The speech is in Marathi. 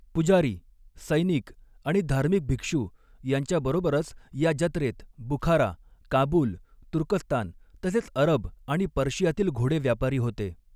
पुजारी, सैनिक आणि धार्मिक भिक्षु यांच्याबरोबरच या जत्रेत बुखारा, काबूल, तुर्कस्तान तसेच अरब आणि पर्शियातील घोडे व्यापारी होते.